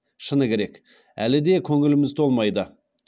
шыны керек әлі де көңіліміз толмайды